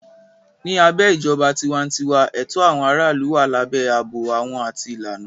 Ní abẹ́ ìjọba tiwantiwa, ẹ̀tọ́ àwọn aráàlú wà lábẹ́ ààbò àwọn àti ìlànà.